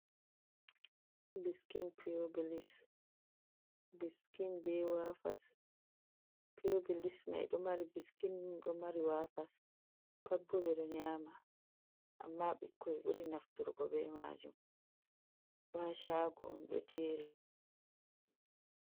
Biskin piyobilis, biskin be wafas, piyobilis may ɗo mari biskin, ɗo mari wafas, pat bo ɓe ɗo nyaama ammaa ɓikkoy ɓuri nafturgo be maajum, ɗo a caago on ɗo jeeri.